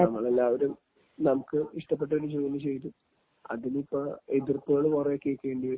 നമ്മളെല്ലാവരും നമുക്ക് ഇഷ്ടപ്പെട്ടൊരു ജോലി ചെയ്ത്..അതിനിപ്പോ എതിര്പ്പുകള് കുറെ കേക്കേണ്ടിവരും...